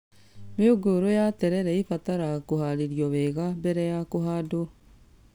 Mĩũngũrwa ya terere ĩbataraga kũharĩrio wega mbere ya kũhandwo